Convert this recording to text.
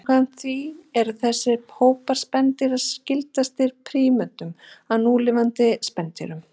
samkvæmt því eru þessir hópar spendýra skyldastir prímötum af núlifandi spendýrum